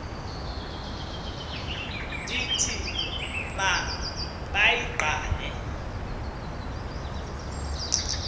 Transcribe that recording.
ndithi ma bayigqale